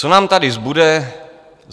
Co nám tady zbude?